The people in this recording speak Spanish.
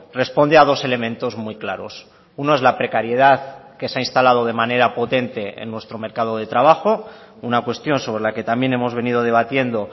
responde a dos elementos muy claros uno es la precariedad que se ha instalado de manera potente en nuestro mercado de trabajo una cuestión sobre la que también hemos venido debatiendo